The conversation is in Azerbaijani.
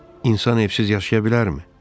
İnsan evsiz yaşaya bilərmi?